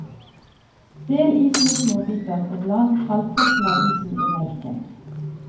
Del isen i småbiter og bland halvparten av isen i melken.